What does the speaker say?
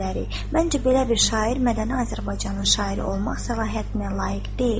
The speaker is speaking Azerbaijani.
Məncə, belə bir şair mədəni Azərbaycanın şairi olmaq səlahiyyətinə layiq deyil.